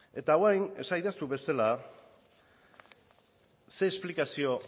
eta orain esadazu bestela ze esplikazio